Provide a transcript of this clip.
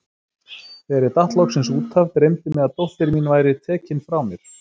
Þegar ég datt loksins út af, dreymdi mig að dóttir mín væri tekin frá mér.